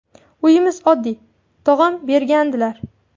Uyimiz oddiy, tog‘am bergandilar.